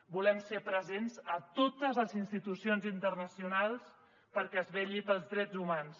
volem ser presents a totes les institucions internacionals perquè es vetlli pels drets humans